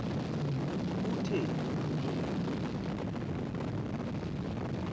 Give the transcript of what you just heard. kuthe ni na